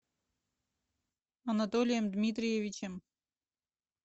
анатолием дмитриевичем